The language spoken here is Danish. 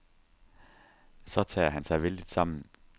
Så tager han sig vældigt sammen.